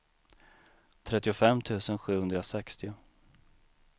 trettiofem tusen sjuhundrasextio